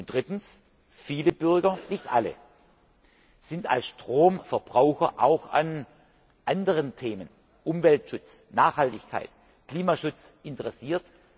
Drittens Viele Bürger nicht alle sind als Stromverbraucher auch an anderen Themen wie Umweltschutz, Nachhaltigkeit, Klimaschutz interessiert.